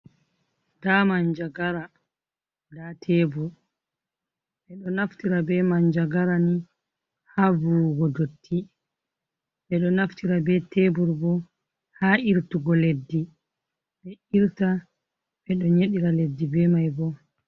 Nda manjagara, nda shebur. Ɓeɗo naftira be manjagara ni ha vuwugo dotti, ɓeɗo naftira be shebur bo ha irtugo leddi. Ɓe irta ɓeɗo nyedira leddi be mai bo.